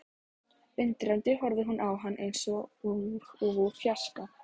Undrandi horfði hún á hann eins og úr fjarska.